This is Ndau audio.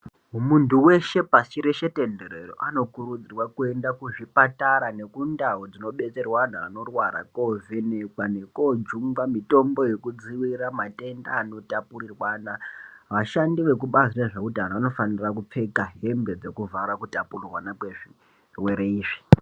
Muntu weshe pasi reshe tenderere ano kurudzirwa kuenda ku zvipatara neku ndau dzino betserwe anhu anorwara ko vhenekwa neko jungwa mitombo yeko dzivirira matenda ano tapurirwana vashandi veku bazi rezve utano vano fanira kupfeka hembe dzeku vhara ku tapurirwana kwe zvirwere izvi.